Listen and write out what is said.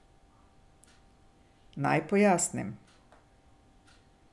Naj pojasnim.